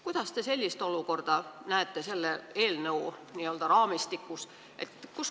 Kuidas te näete seda olukorda selle eelnõu n-ö raamistikus?